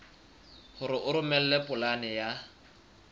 hore o romele polane ya